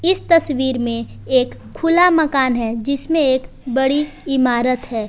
इस तस्वीर में एक खुला मकान है जिसमें एक बड़ी इमारत है।